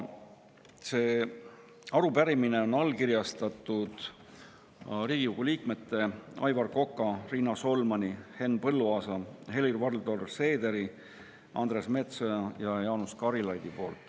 Selle arupärimise on allkirjastanud Riigikogu liikmed Aivar Kokk, Riina Solman, Henn Põlluaas, Helir-Valdor Seeder, Andres Metsoja ja Jaanus Karilaid.